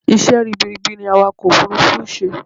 Isẹ́ ribiribi ni awakọ̀ òfurufú nń ṣe